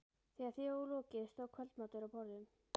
Þegar því var lokið stóð kvöldmatur á borðum.